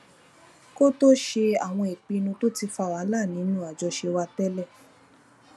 kó tó ṣe àwọn ìpinnu tó ti fa wàhálà nínú àjọṣe wa télè